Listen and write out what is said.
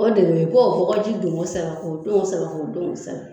O de bɛ yen i b'o bɔgɔ ji don kosɛbɛ, k'o don kosɛbɛ, k'o don kosɛbɛ